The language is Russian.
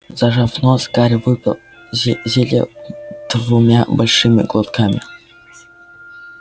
зажав нос гарри выпил зелье двумя большими глотками